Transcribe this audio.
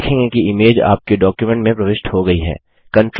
आप देखेंगे कि इमेज आपके डॉक्युमेंट में प्रविष्ट हो गयी है